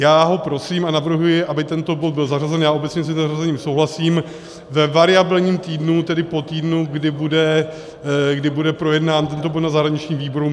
Já ho prosím a navrhuji, aby tento bod byl zařazen - já obecně s jeho zařazením souhlasím - ve variabilním týdnu, tedy po týdnu, kdy bude projednán tento bod na zahraničním výboru.